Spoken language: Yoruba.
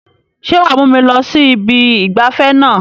Sé wàá mú mi lọ sí ibi ìgbafẹ́ náà?